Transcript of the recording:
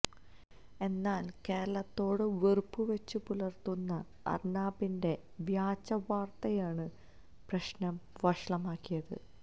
എന്നാൽ കേരളത്തോട് വെറുപ്പ് വച്ചു പുലർത്തുന്ന അർണാബിൻ്റെ വ്യാജവാർത്തയാണ് പ്രശ്നം വഷളാക്കിയത്